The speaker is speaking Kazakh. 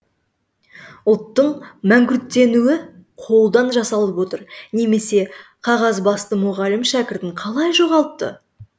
ұлттың мәңгүрттенуі қолдан жасалып отыр немесе қағазбасты мұғалім шәкіртін қалай жоғалтты